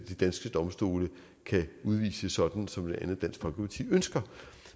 de danske domstole kan udvise sådan som blandt andet dansk folkeparti ønsker